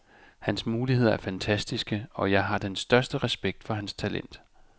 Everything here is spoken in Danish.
Hans muligheder er fantastiske, og jeg har den største respekt for hans talent.